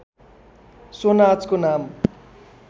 so नाचको नाम